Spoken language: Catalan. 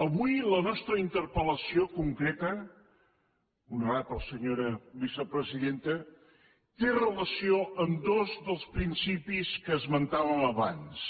avui la nostra interpel·lació concreta honorable senyora vicepresidenta té relació amb dos dels principis que esmentàvem abans